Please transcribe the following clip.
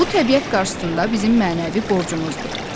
Bu təbiət qarşısında bizim mənəvi borcumuzdur.